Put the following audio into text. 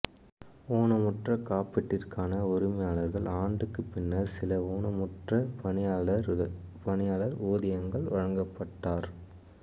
ஊனமுற்ற காப்பீட்டிற்கான உரிமையாளர் ஆண்டுக்கு பின்னர் சில ஊனமுற்ற பணியாளர் ஊதியங்கள் வழங்கப்பட்டார்